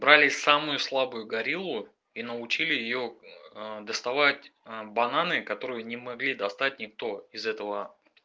брали самую слабую гориллу и научили её доставать бананы которые не могли достать никто из этого